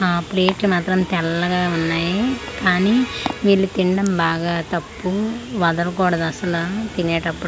ఆ ప్లేట్లు మాత్రం తెల్లగా ఉన్నాయి కానీ వీళ్ళు తినడం బాగా తప్పు వదలకూడదు అసలు తినేటప్పుడు--